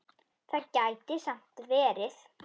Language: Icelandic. Það gæti samt verið.